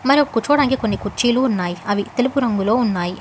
మరి కొజ్జా డానికి కొన్ని కుర్చీలో ఉన్నాయి అవి తెలుపు రంగులో ఉన్నాయి.